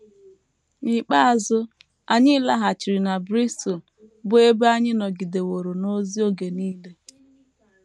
N’ikpeazụ, anyị laghachiri na Bristol bụ́ ebe anyị nọgideworo n’ozi oge nile.